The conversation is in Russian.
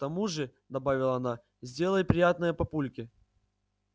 к тому же добавила она сделай приятное папульке